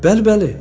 Bəli, bəli.